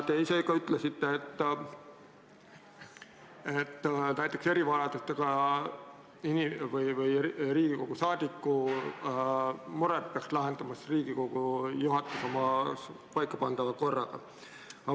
Te ise ka ütlesite, et erivajadusega Riigikogu liikme mured peaks lahendama Riigikogu juhatus oma paika pandava korraga.